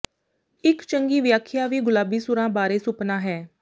ਇਕ ਚੰਗੀ ਵਿਆਖਿਆ ਵੀ ਗੁਲਾਬੀ ਸੂਰਾਂ ਬਾਰੇ ਸੁਪਨਾ ਹੈ